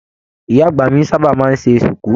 Ìyá àgbà mí sábà máa n ṣe sùkú.